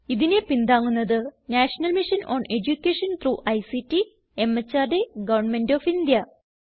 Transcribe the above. ഇതിനെ പിന്താങ്ങുന്നത് national mission on education through ICT MHRD government of India